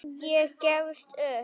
Ég gefst upp